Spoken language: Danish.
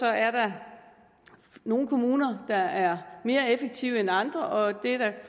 er der nogle kommuner der er mere effektive end andre og det